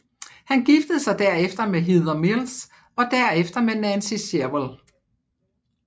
Han giftede sig derefter med Heather Mills og derefter med Nancy Shevell